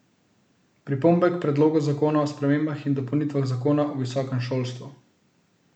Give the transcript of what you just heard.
Pripombe k predlogu zakona o spremembah in dopolnitvah zakona o visokem šolstvu.